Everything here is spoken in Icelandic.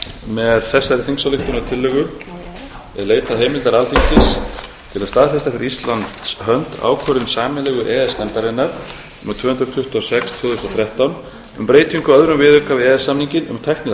staðfesta fyrir íslands hönd ákvörðun sameiginlegu e e s nefndarinnar númer tvö hundruð tuttugu og sex tvö þúsund og þrettán um breytingu á öðrum viðauka við e e s samninginn